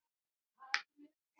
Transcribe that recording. Selir eru einnig algeng sjón.